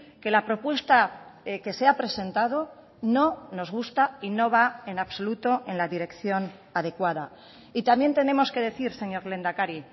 que la propuesta que se ha presentado no nos gusta y no va en absoluto en la dirección adecuada y también tenemos que decir señor lehendakari